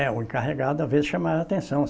É, o encarregado, às vezes, chamava atenção.